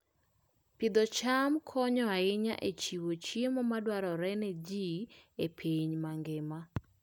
Pidh cham konyo ahinya e chiwo chiemo madwarore ne ji e piny mangima.